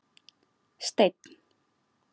Steinn